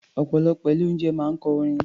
Ọ̀pọ̀lọpọ̀ ilé-oúnjẹ máa ń kọ orin.